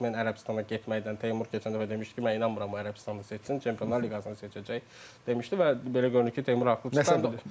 Omen Ərəbistana getməkdən Teymur keçən dəfə demişdi ki, mən inanmıram Ərəbistanı seçsin, Çempionlar liqasını seçəcək demişdi və belə görünür ki, Teymur haqlı çıxdı.